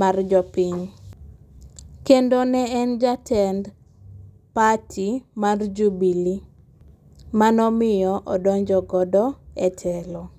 mar jopiny, kendo ne en jatend party mar Jubule manomiyo odonjogo e telo